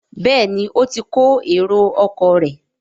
Béèni o tí kò èrò ọkọ̀ rẹ.